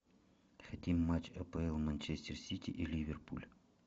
хотим матч апл манчестер сити и ливерпуль